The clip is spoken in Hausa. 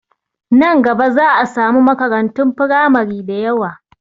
Nan gaba za a samu makarantun firamari dayawa